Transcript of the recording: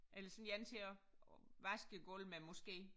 Eller sådan en til at vaske gulv med måske